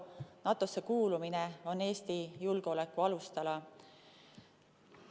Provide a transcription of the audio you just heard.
NATO‑sse kuulumine on Eesti julgeoleku alustala.